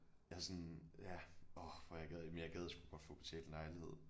Jeg er sådan ja orh hvor jeg gad men jeg gad sgu godt få betalt en lejlighed